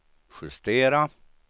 justera